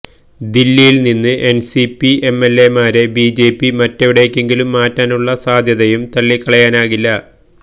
ദില്ലിയില് നിന്ന് എന്സിപി എംഎല്എമാരെ ബിജെപി മറ്റെവിടേക്കെങ്കിലും മാറ്റാനുള്ള സാധ്യതയും തള്ളിക്കളയാനാകില്ല